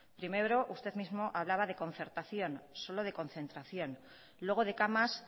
primero usted mismo hablaba de concertación solo de concertación luego de camas